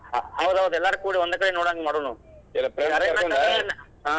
ಹೌದೌದ್ ಎಲ್ಲರೂ ಕೂಡಿ ಒಂದ್ ಕಡೆ ನೋಡುವಂಗ್ ಮಾಡೂನು .